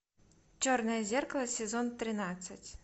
черное зеркало сезон тринадцать